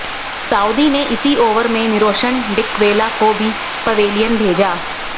Saudi ने इसी over में निरोशन डिकवेला को भी पवेलियन भेजा